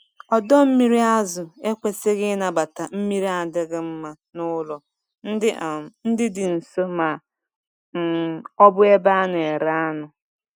Ọdọ mmiri azụ ekwesighi ịnabata mmiri adịghị mma n'ụlọ ndị um dị nso ma um ọ bụ ebe a na-ere anụ.